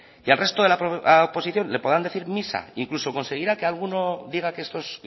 y al resto de la oposición le podrán decir misa incluso conseguirá que alguno diga que estos